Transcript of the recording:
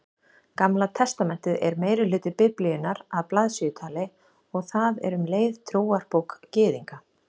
Gamla testamentið er meirihluti Biblíunnar að blaðsíðutali og það er um leið trúarbók Gyðinga.